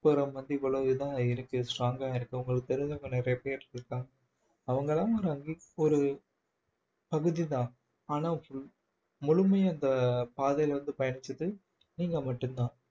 இவ்வளோ இதா இருக்கு strong ஆ இருக்கு உங்களுக்கு தெரிஞ்சவங்க நிறைய பேர் இருக்காங்க அவங்கெல்லாம் ஒரு பகுதிதான் ஆனா full முழுமையா இந்த பாதையில வந்து பயணிச்சது நீங்க மட்டும்தான்